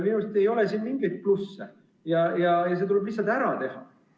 Minu meelest ei ole siin mingeid plusse ja see tuleb lihtsalt ära teha.